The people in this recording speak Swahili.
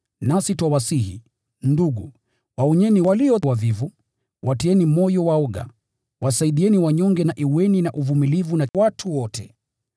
Nasi twawasihi, ndugu, waonyeni walio wavivu, watieni moyo waoga, wasaidieni wanyonge na kuwavumilia watu wote.